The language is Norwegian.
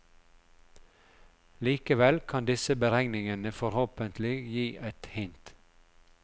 Likevel kan disse beregningene forhåpentlig gi et hint.